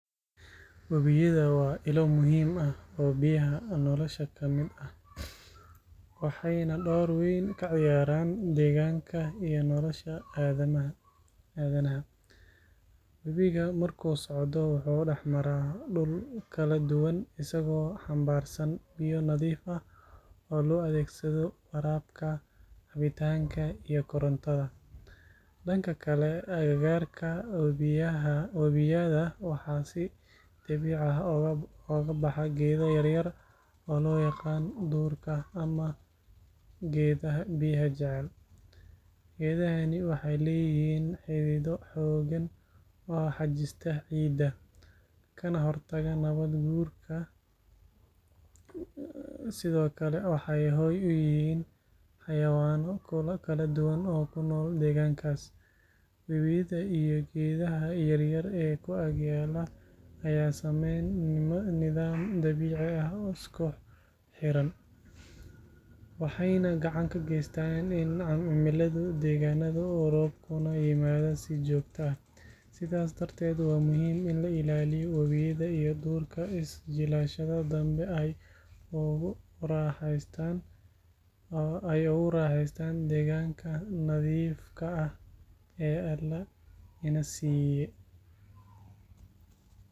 Webiyada waa ilo muhiim ah oo biyaha nolosha ka mid ah, waxayna door weyn ka ciyaaraan deegaanka iyo nolosha aadanaha. Webigu markuu socdo wuxuu dhex maraa dhul kala duwan, isagoo xambaarsan biyo nadiif ah oo loo adeegsado waraabka, cabitaanka, iyo korontada. Dhanka kale, agagaarka webiyada waxaa si dabiici ah uga baxa geedo yaryar oo loo yaqaan duurka ama geedaha biyaha jecel. Geedahani waxay leeyihiin xidido xooggan oo xajista ciidda, kana hortaga nabaad guurka. Sidoo kale, waxay hoy u yihiin xayawaanno kala duwan oo ku nool deegaankaas. Webiyada iyo geedaha yaryar ee ku ag yaal ayaa sameeya nidaam dabiici ah oo isku xidhan, waxayna gacan ka geystaan in cimiladu degganaato, roobkuna yimaado si joogto ah. Sidaas darteed, waa muhiim in la ilaaliyo webiyada iyo duurka si jiilasha dambe ay ugu raaxaystaan deegaanka nadiifka ah ee Alle ina siiyay.